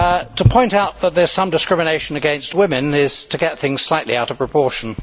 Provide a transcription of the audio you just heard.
To point out that there is some discrimination against women is to get things slightly out of proportion.